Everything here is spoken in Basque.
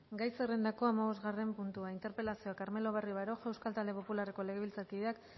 gai zerrendako hamabosgarren puntua interpelazioa carmelo barrio baroja euskal talde popularreko legebiltzarkideak